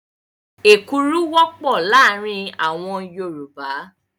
Èkuru wọ́pọ̀ láàárin àwọn Yorùbá.